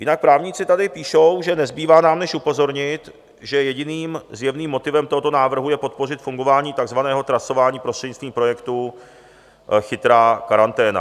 Jinak právníci tady píšou, že nezbývá nám než upozornit, že jediným zjevným motivem tohoto návrhu je podpořit fungování takzvaného trasování prostřednictví projektu Chytrá karanténa.